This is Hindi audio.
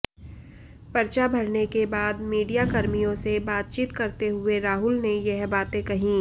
परचा भरने के बाद मीडियाकर्मियों से बातचीत करते हुए राहुल ने यह बातें कही